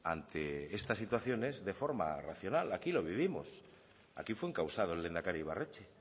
ante estas situaciones de forma racional aquí lo vivimos aquí fue encausado el lehendakari ibarretxe